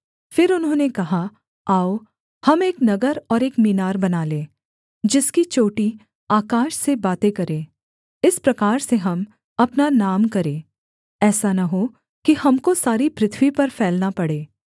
फिर उन्होंने कहा आओ हम एक नगर और एक मीनार बना लें जिसकी चोटी आकाश से बातें करे इस प्रकार से हम अपना नाम करें ऐसा न हो कि हमको सारी पृथ्वी पर फैलना पड़े